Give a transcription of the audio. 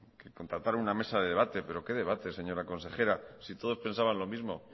contratar una mesa de debate pero qué debate señora consejera si todos pensaban lo mismo